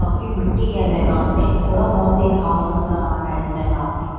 काफी मिट्टी है मैदान में थोड़ा बहुत ही घास नजर आ रहा है इस मैदान में।